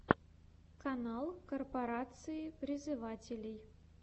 канал корпорации призывателей